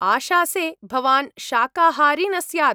आशासे भवान् शाकाहारी न स्यात्?